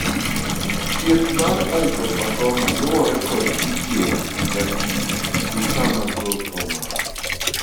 thieth mar iposarcoma luwore kod kidieny, ratil gi kama groth omako